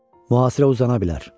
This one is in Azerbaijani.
Mühasirə uzana bilər.